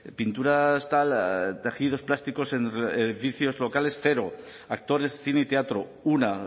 pinturas tal tejidos plásticos en locales cero actores cine y teatro una